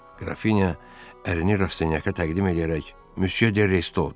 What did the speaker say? Qrafinya ərini Rastinyaka təqdim eləyərək "Müsyö de Resto!" dedi.